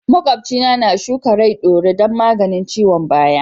Makwabci na shuka rai ɗaure don maganin ciwon baya.